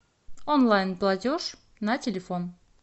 онлайн платеж на телефон